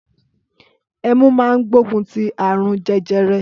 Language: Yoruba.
Ẹmú mà ń gbògún ti àrún jẹjẹrẹ.